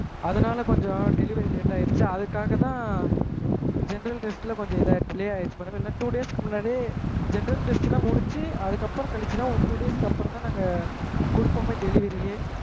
அதுனால கொஞ்சம் delivery late ஆகிடுச்சு அதுக்காஹ தான் general test ல கொஞ்சம் இதாயிருச்சு delay ஆகிடுசு two days க்கு முன்னாடியெ general test லான் முடிச்சு அதுக்கு அப்புறம் கழிச்சு தான் two days க்கு அப்புறம் தான் நாங்க குடுப்பொமெ delivery யே